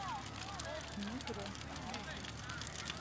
мегрэ включи